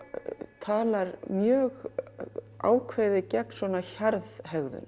talar mjög ákveðið gegn hjarðhegðun